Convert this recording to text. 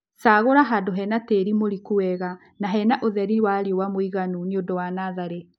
Cagũla handũ hena tĩĩri mũriku wega na hena ũtheri wa riũa mũiganu nĩundũ wa natharĩ